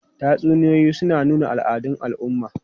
Tatsuniyoyi suna nuna al'adun al'umma.